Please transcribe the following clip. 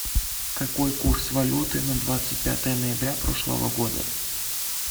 какой курс валюты на двадцать пятое ноября прошлого года